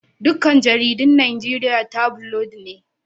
Duka jaridun Najeriya tabulod ne